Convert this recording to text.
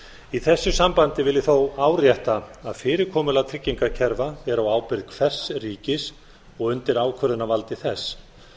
í þessu sambandi vil ég þó árétta að fyrirkomulag tryggingakerfa er á ábyrgð hvers ríkis og undir ákvörðunarvaldi þess